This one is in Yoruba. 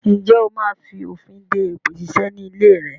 Ǹjẹ́ ó máa fònfin de èpè ṣíṣe ni ilé rẹ?